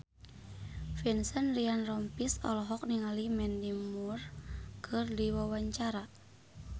Vincent Ryan Rompies olohok ningali Mandy Moore keur diwawancara